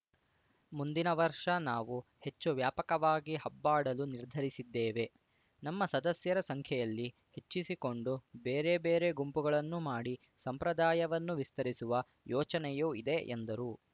ಮುಂದಿನ ವರ್ಷ ನಾವು ಹೆಚ್ಚು ವ್ಯಾಪಕವಾಗಿ ಹಬ್ಬಾಡಲು ನಿರ್ಧರಿಸಿದ್ದೇವೆ ನಮ್ಮ ಸದಸ್ಯರ ಸಂಖ್ಯೆಯಲ್ಲಿ ಹೆಚ್ಚಿಸಿಕೊಂಡು ಬೇರೆ ಬೇರೆ ಗುಂಪುಗಳನ್ನು ಮಾಡಿ ಸಂಪ್ರದಾಯವನ್ನು ವಿಸ್ತರಿಸುವ ಯೋಚನೆಯೂ ಇದೆ ಎಂದರು